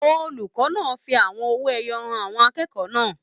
Olùkọ náà fí àwọn owó ẹyọ hàn àwọn akẹ́kọ̀ọ́ náà.